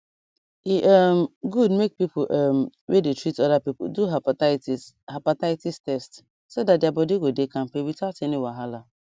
e um good make people um wey dey treat other people do hepatitis hepatitis test so that their body go dey kampe without any wahala